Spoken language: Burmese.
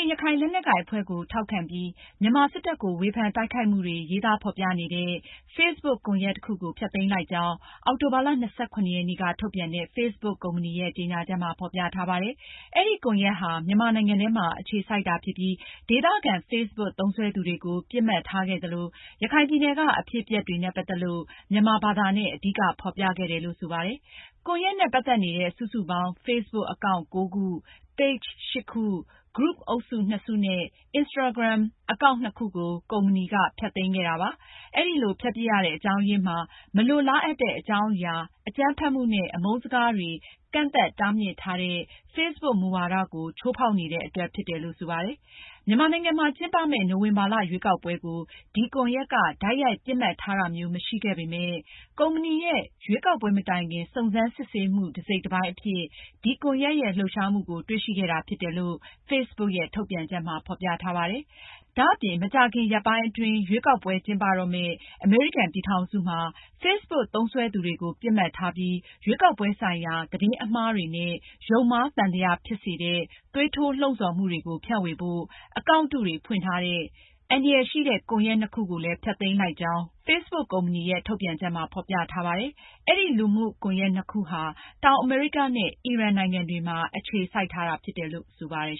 ရခိုင်လက်နက်ကိုင်အဖွဲ့ကို ထောက်ခံပြီး၊ မြန်မာစစ်တပ်ကို ဝေဖန်တိုက်ခိုက်မှုတွေရေးသားဖေါ်ပြနေတဲ့ Facebook ကွန်ရက်တခုကို ဖျက်သိမ်းလိုက်ကြောင်းအောက်တိုဘာလ (၂၇)ရက်နေ့က ထုတ်ပြန်တဲ့ Facebook ကုမ္ပဏီရဲ့ကြေညာချက်မှာ ဖေါ်ပြထားပါတယ်။ အဲဒီကွန်ရက်ဟာ မြန်မာနိုင်ငံထဲမှာ အခြေစိုက်တာဖြစ်ပြီး ဒေသခံ Facebook သုံးစွဲသူတွေကို ပစ်မှတ်ထားခဲ့သလို ရခိုင်ပြည်နယ်က အဖြစ်အပျက်တွေနဲ့ ပတ်သက်လို့ မြန်မာဘာသာနဲ့ အဓိကဖေါ်ပြခဲ့တယ်လို့ ဆိုပါတယ်။ ကွန်ရက်နဲ့ ပတ်သက်နေတဲ့ စုစုပေါင်း Facebook အကောင့် (၉) ခု၊ page (၈) ခု၊ group အုပ်စု (၂)စုနဲ့Instagram အကောင့် (၂)ခု ကို ကုမ္ပဏီက ဖျက်သိမ်းခဲ့တာပါ။ အဲဒီလို ဖျက်ပစ်ရတဲ့ အကြောင်းအရင်းမှာ မလိုလားအပ်တဲ့ အကြောင်းအရာ၊ အကြမ်းဖက်မှုနဲ့ အမုန်းစကားတွေ ကန့်သတ် တားမြစ်ထားတဲ့Facebook မူဝါဒကို ချိုးဖောက်နေတဲ့အတွက် ဖြစ်တယ်လို့ ဆိုပါတယ်။ မြန်မာနိုင်ငံမှာ ကျင်းပမယ့် နိုဝင်ဘာ ရွေးကောက်ပွဲကို ဒီကွန်ရက်က တိုက်ရိုက် ပစ်မှတ်ထားတာမျိုး မရှိခဲ့ပေမယ့် ကုမ္ပဏီရဲ့ ရွေးကောက်ပွဲမတိုင်ခင် စုံစမ်းစစ်ဆေးမှု တစိတ်တပိုင်းအဖြစ် ဒီကွန်ရက်ရဲ့ လှုပ်ရှားမှုတွေကို တွေ့ရှိခဲ့တာဖြစ်တယ်လို့ Facebook ထုတ်ပြန်ချက်မှာ ဖေါ်ပြထားပါတယ်။ ဒါအပြင် မကြာခင်ရက်ပိုင်းအတွင်း ရွေးကောက်ပွဲကျင်းပတော့မယ့် အမေရိကန်ပြည်ထောင်စုမှာ Facebook သုံးစွဲသူတွေကို ပစ်မှတ်ထားပြီး ရွေးကောက်ပွဲဆိုင်ရာ သတင်းအမှား တွေနဲ့ ယုံမှားသံသယဖြစ်စေတဲ့ သွေးထိုးလှုံဆော်မှုတွေကိုဖြန့်ဝေဖို့ အကောင့်တုတွေဖွင့်ထားတဲ့ အန္တရာယ်ရှိတဲ့ ကွန်ရက် (၂)ခုကိုလည်း ဖျက်သိမ်းလိုက်ကြောင်း Facebook ကုမ္ပဏီရဲ့ ထုတ်ပြန်ချက်မှာ ဖေါ်ပြထားပါတယ်။ အဲဒီ လူမှုကွန်ရက်နှစ်ခုဟာ တောင်အမေရိကားနဲ့ အီရန်နိုင်ငံတွေမှာ အခြေစိုက်ထားတာဖြစ်တယ်လို့ ဆိုပါတယ်